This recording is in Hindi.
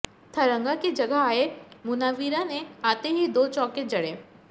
थरंगा की जगह आए मुनावीरा ने आते ही दो चौके जड़े